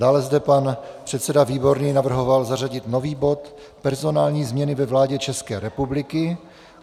Dále zde pan předseda Výborný navrhoval zařadit nový bod Personální změny ve vládě České republiky.